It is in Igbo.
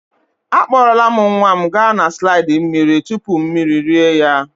Akpọrọla nwa m gaa na slide mmiri tupu mmiri rie ya.